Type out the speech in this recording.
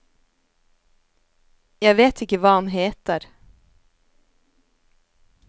Jeg vet ikke hva han heter.